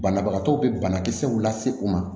Banabagatɔw bɛ banakisɛw lase u ma